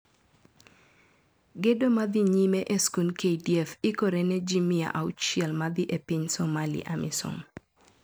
Gedo madhi nyime e skund KDF ikore ne ji mia auchiel madhi e piny Somalia (Amisom).